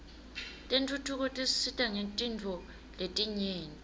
tentfutfuko tisisita ngetintfo letinyenti